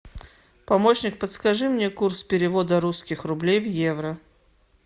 помощник подскажи мне курс перевода русских рублей в евро